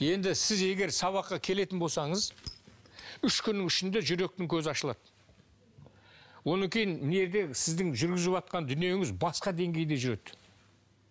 енді сіз егер сабаққа келетін болсаңыз үш күннің ішінде жүректің көзі ашылады оны кейін дүниеде сіздің жүргізіватқан дүниеңіз басқа деңгейде жүреді